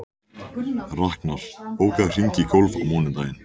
Raknar, bókaðu hring í golf á mánudaginn.